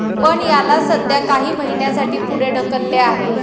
पण, याला सध्या काही महिन्यासाठी पुढे ढकलले आहे.